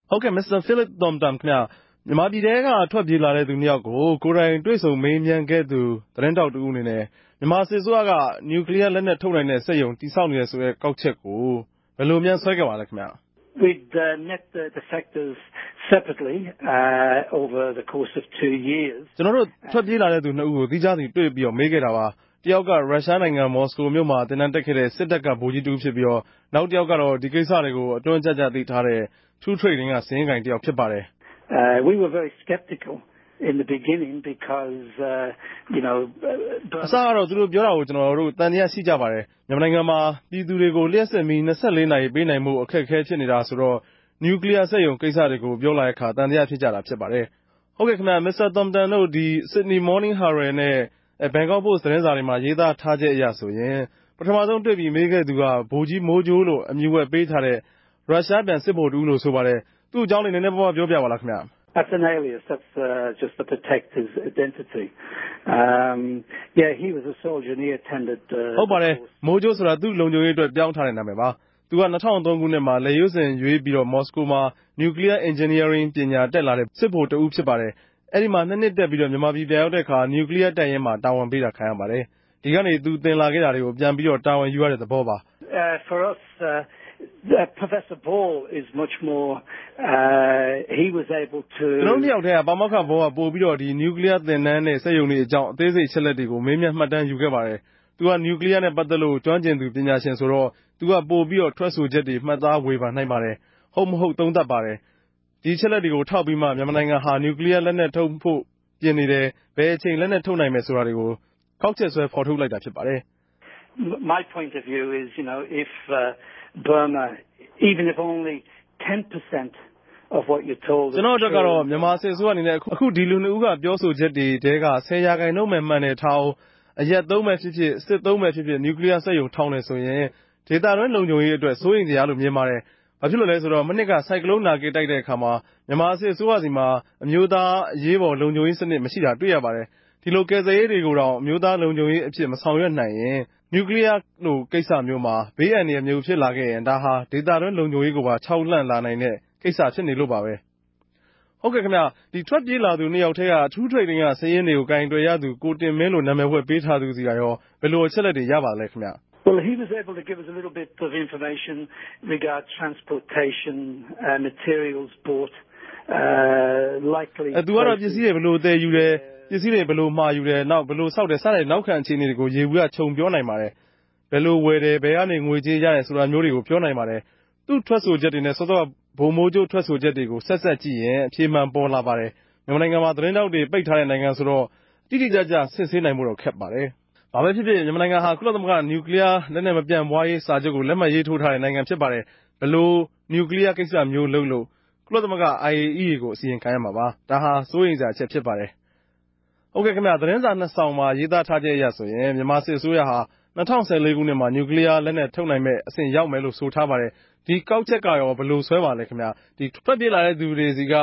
ဟုတ်ကဲ့ Mr. Phil Thornton ခင်ဗဵား။ ူမန်မာူပည်ထဲက ထြက်ေူပးလာတဲ့သူ ိံြစ်ယောက်ကို ကိုယ်တိုင် တြေႚဆုံ မေးူမန်းခဲ့သူတဦးအနေနဲႛ ူမန်မာစစ်အစိုးရက ညကြလီးယားလက်နက် ထုတိံိုင်တဲ့ စက်႟ုံဆောက်နေတယ်ဆိုတဲ့ ကောက်ခဵက်ကို ဘယ်လို ဆြဲခဲ့ပၝသလဲဗဵ။ ကဵနော်တိုႛ ထြက်ေူပးလာတဲ့သူ ိံြစ်ဦးကို သီးူခားစီ တြေႚမေးခဲ့တာပၝ။ တယောက်က ႟ုရြားိံိုင်ငံ မော်စကို္ဘမိြႚမြာ သင်တန်းတက်ခဲ့တဲ့ စစ်တပ်က ဗိုလ်ဋ္ဌကီးတဦးူဖစ်္ဘပီး နောက်တယောက်ကတော့ ဒီကိင်္စတေကြို အတြင်းကဵကဵ သိထားတဲ့ ထူးထရိတ်ဒင်းက စာရင်းကိုင်တယောက် ူဖစ်ပၝတယ်။ အစတော့ သူတိုႛေူပာတာတေကြို ကဵနော်တိုႛ သံသယရြိပၝတယ်။ ူမန်မာိံိုင်ငံမြာက ူပည်သူတေကြို လ္တွပ်စစ်မီး ၂၄ နာရီပေးိံိုင်ဖိုႛကို အခက်အခဲ ူဖစ်နေတာဆိုတော့ ညကြလီးယားစက်႟ုံ ကိင်္စတေကြို ေူပာလာတော့ သံသယူဖစ်ုကတာပၝ။ ဟုတ်ကဲ့၊ Mr. Thornton တိုႛ ဒီ Sydney Morning Herald နဲႛ Bangkok Post တေမြြာ ရေးထားခဵက်အရဆိုရင် ပထမဆုံးတြေႚ္ဘပီး မေးခဲ့တဲ့သူက ဗိုလ်ဋ္ဌကီးမိုးဋ္ဌကိြးလိုႛ အမည်ဝြက်ပေးထားတဲ့ ႟ုရြားူပန် စစ်ဗိုလ်တဦးလိုႛ ဆိုပၝတယ်။ သူႛအေုကာင်း ေူပာူပပၝလားခင်ဗဵ။ ဟုတ်ပၝတယ်၊ မိုးဋ္ဌကိြးဆိုတာ သူႛလုံူခံြရေးအတြက် ေူပာင်းထားတဲ့ နာမည်ဝြက်ပၝ။ သူက ၂၀၀၃ ခိုံြစ်မြာ လက်ေ႟ြးစင် ေ႟ြး္ဘပီး မော်စကိုမြာ ညကြလီးယား အင်ဂဵင်နီးယားရင်းပညာ တက်လာတဲ့ ဗိုလ်ဋ္ဌကီးတဦးပၝ။ အဲဒီမြာ ၂ ိံြစ်တက်္ဘပီး ူမန်မာူပည်ူပန်ရောက်တော့ ညကြလီးယားတပ်ရင်းမြာ တာဝန်ပေး ခံရပၝတယ်။ ဒီကနေ သူသင်လာခဲ့တာတေကြနေ ူပန်တာဝန်ယူရတဲ့သဘောပၝ။ ကဵနော်တိုႛ ိံြစ်ယောက်ထဲက ပၝမောက္ခ ဘောလ်က ညကြလီးယား သင်တန်းနဲႛ စက်႟ုံတေအြေုကာင်း ပို္ဘပီး အသေးစိတ် အခဵက်လက်တြေ မေးူမန်း မြတ်တမ်းယူခဲ့ပၝတယ်၊ သူက ညကြလီးယားနဲႛ ပတ်သက်လိုႛ ကဋ္ဋမ်းကဵင်သူ ပညာရြင်ဆိုတော့ သူက ပို္ဘပီး ထြက်ဆိုခဵက်တေကြို မြတ်သားဝေဖန်ပၝတယ်။ ဟုတ်မဟုတ် သုံးသပ်ပၝတယ်။ သူက ဒီအခဵက်လက်တေကြို ထောက်္ဘပီး ူမန်မာိံိုင်ငံဟာ ညြးကလီယားလက်နက် ထုတိံိုင်ဖိုႛ ူပင်နေတယ်၊ ဘယ်အခဵိန် လက်နက်ထုတိံိုင်မယ်ဆိုတာကို သုံးသပ်တာပၝ။ ကဵနော့်အတြက်ကတော့ ူမန်မာစစ်အစိုးရအနေနဲႛ အခု ဒီလူ ိံြစ်ဦးက ေူပာဆိုခဵက်တေထြဲက ၁၀ ရာခိုငိံြန်းပဲ မြန်တယ်ထားဦး၊ အရပ်သုံးူဖစ်ူဖစ် စစ်သုံးူဖစ်ူဖစ် ညကြလီးယားစက်႟ုံ ထောင်တယ်ဆိုရင် ဒေသတြင်း လုံူခံြရေး အတြက် စိုးရိမ်စရာလိုႛ ူမင်ပၝတယ်။ ဘာူဖစ်လိုႛလဲ ဆိုတော့ မိံြစ်က ဆိုင်ကလုံးနာဂစ်တိုက်တော့ ူမန်မာစစ်အစိုးရဆီမြာ အမဵိြးသား အရေးပေၞ လုံူခံြရေးစနစ် မရြိတာ တြေႚိံိုင်ပၝတယ်။ ဒီလို ကယ်ဆယ်ရေးတေကြိုတောင် အမဵိြးသားလုံူခံြရေးအူဖစ် မဆောင်႟ြကိံိုင်ရင် ညြးကလီယားလို ကိင်္စမဵိြးမြာ ဘေးအ္ဈိံရာယ်ူဖစ်လာရင် ဒၝဟာ ဒေသတြင်း လုံူခံြရေးကို ္ဘခိမ်းေူခာက်လာိံိုင်တဲ့ ကိင်္စူဖစ်လိုႛပၝပဲ။ ဟုတ်ကဲ့။ ထြက်ေူပးလာသူ ၂ ယောက်ထဲက ထူးထရိတ်ဒင်းက စာရင်းတေကြို ကိုင်တြယ်ရသူ ကိုတင်မင်းလိုႛ နာမည်ဝြက်ပေးထားသူဆီကကော ဘယ်လို အခဵက်လက်တေရြလဲ ေူပာပၝဦးခင်ဗဵ။ သူကတော့ ပင်္စည်းတြေ ဘယ်လိုသယ်ယူတယ်၊ ပင်္စည်းတြေ ဘယ်လိုမြာယူတယ်၊ ဆောက်တယ် စတဲ့ နောက်ခံ အေူခအနေကို ယေဘုယဵ ူခံြေူပာိံိုင်ပၝတယ်။ ဘယ်လိုဝယ်တယ်၊ ဘယ်ကနေ ငြေေုကးရတယ်ဆိုတာမဵိြးတေကြို ေူပာိံိုင်ပၝတယ်။ သူႛထြက်ဆိုခဵက်တေနြဲႛ စောစောက ဗိုလ်ဋ္ဌကီး ထြက်ဆိုခဵက်တေကြို ဆက်စပ်ုကည့်ရင် အေူဖမြန် ပေၞလာပၝတယ်။ ူမန်မာိံိုင်ငံမြာ သတင်းထောက်တေကြို ပိတ်ထားတဲ့ိံိုင်ငံဆိုတော့ အတိအကဵ စစ်ဆေးိံိုင်ဖိုႛ ခက်ခဲ့ပၝတယ်။ ဘာပဲူဖစ်ူဖစ် ူမန်မာိံိုင်ငံဟာ ကုလသမဂ္ဂ ညကြလီးယားလက်နက် မူပန်ႛပြားရေးစာခဵြပ် လက်မြတ်ထိုးထားတဲ့ ိံိုင်ငံပၝ။ ဘယ်လို ညြးကလီယားကိင်္စမဵိြးလုပ်လုပ် ကုလသမဂ္ဂ အိုင်အေအီးအေကို အစီရင်ခံရမြာပၝ။ ဒၝဟာ စိုးရိမ်စရာပဲူဖစ်ပၝတယ်။ ဟုတ်ကဲ့ သတင်းစာ ၂ စောင်မြာ ရေးသားခဵက်အရ ူမန်မာစစ်အစိုးရဟာ ၂၀၁၄ ခိုံြစ်မြာ ညကြလီးယား လက်နက်ထုတိံိုင်မဲ့အဆင့်ရောက်မယ်လိုႛ ဆိုထားပၝတယ်။ ဒီကောက်ခဵက်ကကော ဘယ်လိုဆြဲပၝသလဲ။ ထြက်ေူပးလာတဲ့သူတေဆြီက